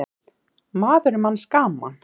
Maður er manns gaman.